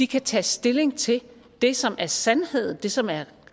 kan tage stilling til det som er sandhed det som er